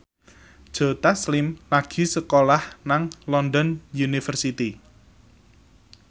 Joe Taslim lagi sekolah nang London University